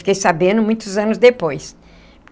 Fiquei sabendo muitos anos depois.